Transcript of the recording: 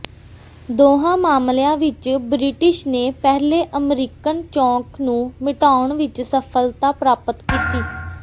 ਦੋਹਾਂ ਮਾਮਲਿਆਂ ਵਿਚ ਬ੍ਰਿਟਿਸ਼ ਨੇ ਪਹਿਲੇ ਅਮਰੀਕਣ ਚੌਂਕ ਨੂੰ ਮਿਟਾਉਣ ਵਿਚ ਸਫ਼ਲਤਾ ਪ੍ਰਾਪਤ ਕੀਤੀ